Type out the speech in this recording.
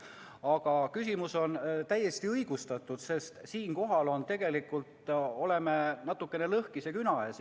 Aga küsimus on täiesti õigustatud, sest me oleme tegelikult natuke lõhkise küna ees.